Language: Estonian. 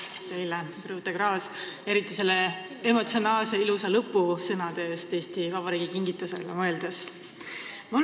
Aitäh teile, Birute Klaas, eriti oma kõne emotsionaalsete ilusate lõpusõnade eest, mis te ütlesite Eesti Vabariigi kingitusele mõeldes!